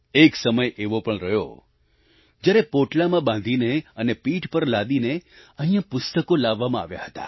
એક સમય એવો પણ રહ્યો જ્યારે પોટલામાં બાંધીને અને પીઠ પર લાદીને અહીંયા પુસ્તકો લાવવામાં આવ્યા હતા